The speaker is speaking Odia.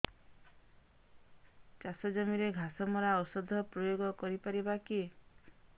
ଚାଷ ଜମିରେ ଘାସ ମରା ଔଷଧ ପ୍ରୟୋଗ କରି ପାରିବା କି